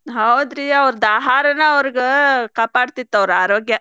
ಹೌದ್ರಿ ಅವರ್ದ ಆಹಾರನ ಅವರ್ಗ ಕಾಪಾಡತಿತ್ತ ಅವ್ರ್ ಅರೋಗ್ಯ.